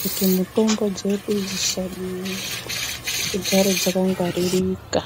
kuti mitombo dzedu dzisabiwa, dzigare dzakangwaririka.